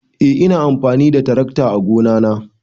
Eh ina amfani da tarakta ã gona na.